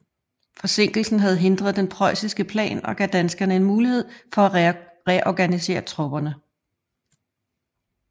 Forsinkelsen havde hindret den prøjsiske plan og gav danskerne en mulighed for at reorganisere tropperne